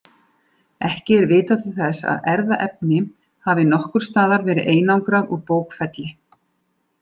Ekki er vitað til þess að erfðaefni hafi nokkurs staðar verið einangrað úr bókfelli.